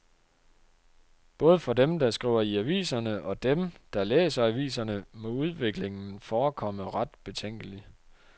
Både for dem, der skriver i aviserne og dem, der læser aviserne, må udviklingen forekomme ret betænkelig.